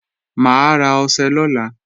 Mà á ra ọṣẹ lọ́la